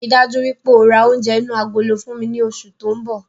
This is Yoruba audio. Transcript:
Ríi dájú wípé ó rá oúnjẹ inú agolo fún mi ní oṣù tóun bọ̀